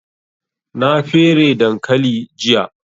Na fere dankali jiya